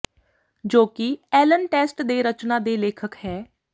ਜੋ ਕਿ ਐਲਨ ਟੈਸਟ ਦੇ ਰਚਨਾ ਦੇ ਲੇਖਕ ਹੈ